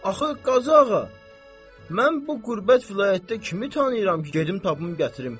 Axı, Qazıağa, mən bu qürbət vilayətdə kimi tanıyıram ki, gedim tapım gətirim?